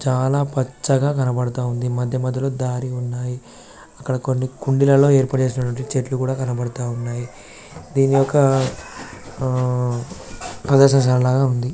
చాల పచ్చగా కనబడుతూఉంది మధ్య మధ్యలో దారి ఉన్నాయి అక్కడ కుంది లాగా ఏర్పాటు చేసిన చెట్లు కూడా కనబడుతున్నాయి దీని ఒక ప్రదర్శన షాల లాగా ఉంది.